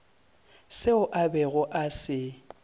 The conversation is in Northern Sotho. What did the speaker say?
seo a bego a se